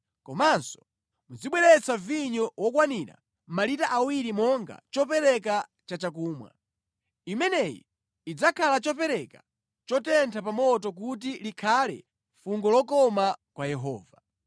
Komanso muzibweretsa vinyo wokwanira malita awiri monga chopereka chachakumwa. Imeneyi idzakhala chopereka chotentha pa moto kuti likhale fungo lokoma kwa Yehova.